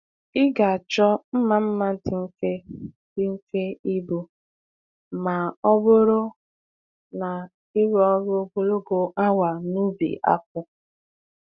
Ị ga-achọ mma mma dị mfe dị mfe ibu ma ọ bụrụ na ịrụ ọrụ ogologo awa n’ubi akpụ.